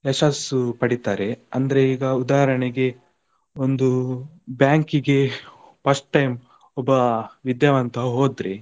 ಯಶಸ್ಸು ಪಡಿತಾರೆ ಅಂದ್ರೆ ಈಗ ಉದಾರಣೆಗೆ ಒಂದು bank ಗೆ first time ಒಬ್ಬ ವಿದ್ಯಾವಂತ ಹೋದ್ರೆ,